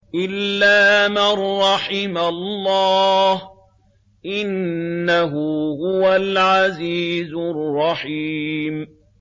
إِلَّا مَن رَّحِمَ اللَّهُ ۚ إِنَّهُ هُوَ الْعَزِيزُ الرَّحِيمُ